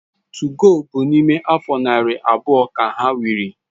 2go bu na ime afo nari abuo ka ha wiri